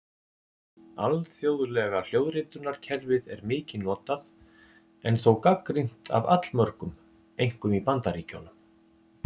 Alþjóðlega hljóðritunarkerfið er mikið notað en þó gagnrýnt af allmörgum einkum í Bandaríkjunum.